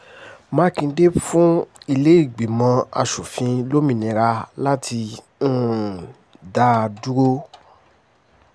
mákindé fún ìlẹ́gbẹ́mọ asòfin lómìnira láti um dá dúró